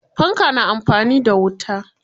Fanka na amfani da wuta.